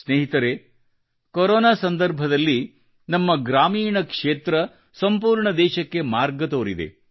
ಸ್ನೇಹಿತರೆ ಕೊರೊನಾ ಸಂದರ್ಭದಲ್ಲಿ ನಮ್ಮ ಗ್ರಾಮೀಣ ಕ್ಷೇತ್ರ ಸಂಪೂರ್ಣ ದೇಶಕ್ಕೆ ಮಾರ್ಗ ತೋರಿದೆ